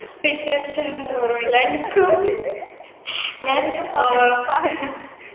പിന്നെ അർഷാന ഓർമ്മയിണ്ടാ അനക്കും ഞാൻ ഏർ